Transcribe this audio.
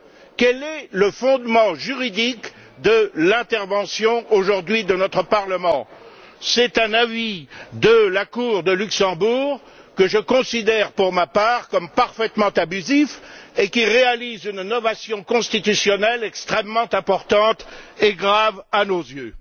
Quel est le fondement juridique de l'intervention, aujourd'hui, de notre Parlement? C'est un avis de la Cour de justice, que je considère pour ma part comme parfaitement abusif et qui réalise une novation constitutionnelle extrêmement importante et grave à nos yeux.